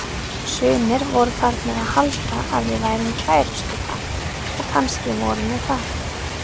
Sumir voru farnir að halda að við værum kærustupar og kannski vorum við það.